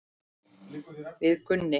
Við Gunni.